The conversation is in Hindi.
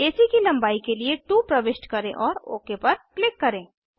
एसी की लंबाई के लिए 2 प्रविष्ट करें और ओक पर क्लिक करें